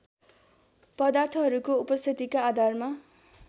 पदार्थहरूको उपस्थितिका आधारमा